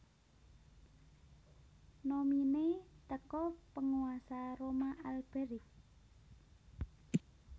nominee teko Penguasa Roma Alberic